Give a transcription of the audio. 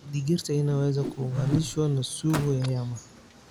Digirta inaweza kuunganishwa na sugo ya nyama.